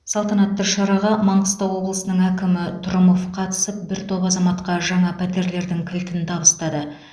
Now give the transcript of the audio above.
салтанатты шараға маңғыстау облысының әкімі трұмов қатысып бір топ азаматқа жаңа пәтерлердің кілтін табыстады